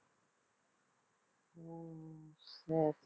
சரி